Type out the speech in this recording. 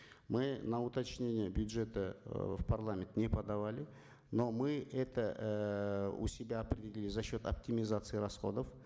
мы на уточнение бюджета э в парламент не подавали но мы это эээ у себя определили за счет оптимизации расходов